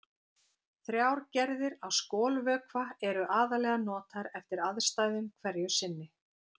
Þrjár gerðir af skolvökva eru aðallega notaðar eftir aðstæðum hverju sinni.